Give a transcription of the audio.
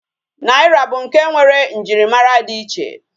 Naira bu nke nwere njirimara di iche